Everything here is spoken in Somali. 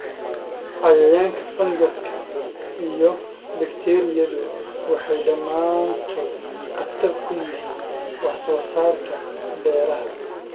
Cayayaanka, fangaska, iyo bakteeriyadu waxay dhammaantood khatar ku yihiin wax soo saarka beeraha.